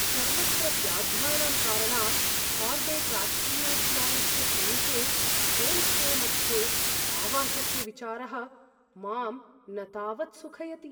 सर्वत्र व्याघ्राणां कारणात् कार्बेट् राष्ट्रियोद्यानस्य समीपे होम्स्टे मध्ये आवसस्य विचारः मां न तावत् सुखयति।